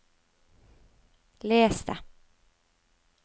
les det